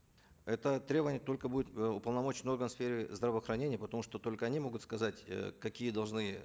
это требования только будет э уполномоченный орган в сфере здравоохранения потому что только они могут сказать э какие должны